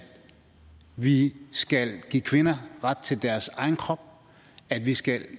vi skal give kvinder ret til deres egen krop at vi skal